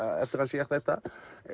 hann sér þetta